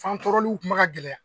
Fan tɔrɔrliw kun ma ka gɛlɛya.